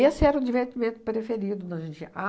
era o divertimento preferido